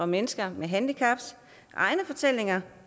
mennesker med handicaps egne fortællinger